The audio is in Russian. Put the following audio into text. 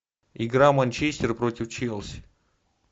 игра манчестер против челси